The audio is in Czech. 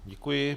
Děkuji.